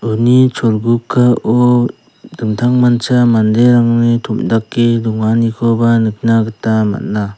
uni cholgugao dingtangmancha manderangni tom·dake donganikoba nikna gita man·a.